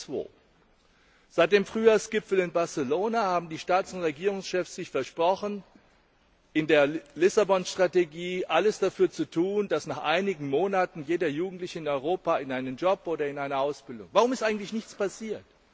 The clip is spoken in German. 2002. Seit dem Frühjahrsgipfel in Barcelona haben die Staats und Regierungschefs einander versprochen, in der Lissabon Strategie alles dafür zu tun, dass nach einigen Monaten jeder Jugendliche in Europa in einen Job oder in eine Ausbildung kommt. Warum ist eigentlich nichts passiert?